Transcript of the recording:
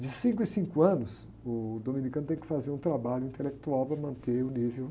De cinco em cinco anos, o dominicano tem que fazer um trabalho intelectual para manter o nível.